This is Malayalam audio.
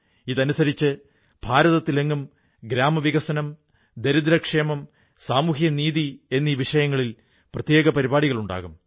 ഇതനുസരിച്ച് ഭാരതത്തിലെങ്ങും ഗ്രാമവികസനം ദരിദ്രക്ഷേമം സാമൂഹിക നീതി എന്നീ വിഷയങ്ങളിൽ പ്രത്യേക പരിപാടികളുണ്ടാകും